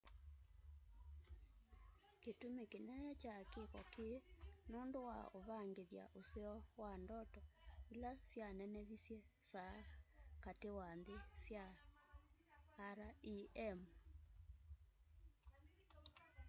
kĩtũmĩ kĩnene kya kĩko kĩĩ nũndũ wa ũvangĩthya mũseo wa ndoto ĩla sya nenevĩsye saa katĩ wa nthĩ sya rem